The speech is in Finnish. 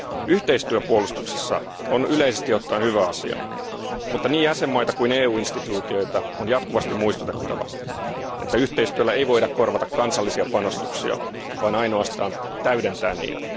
Yhteistyö puolustuksessa on yleisesti ottaen hyvä asia, mutta niin jäsenvaltioita kuin EU instituutioita on jatkuvasti muistutettava, että yhteistyöllä ei voida korvata kansallisia panostuksia, vaan ainoastaan täydentää niitä.